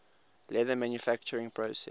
leather manufacturing process